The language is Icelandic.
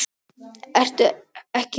Ertu ekki hress?